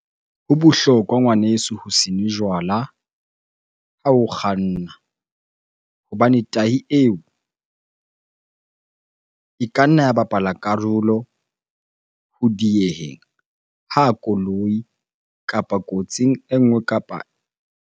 Ho bohlokwa ngwaneso ho se nwe jwala ha o kganna. Hobane tahi eo, e ka nna ya bapala karolo ho dieheng ha koloi kapa kotsing e nngwe kapa .